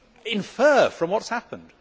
Infer from what has happened.